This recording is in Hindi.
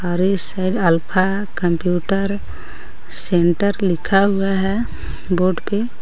और इस साइड अल्फा कंप्यूटर सेंटर लिखा हुआ है बोर्ड पे।